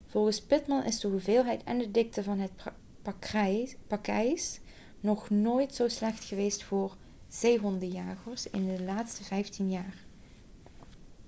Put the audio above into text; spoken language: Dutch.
volgens pittman is de hoeveelheid en de dikte van het pakijs nog nooit zo slecht geweest voor zeehondenjagers in de laatste vijftien jaar